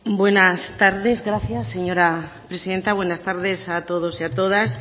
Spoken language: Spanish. buenas tardes gracias señora presidenta buenas tardes a todos y a todas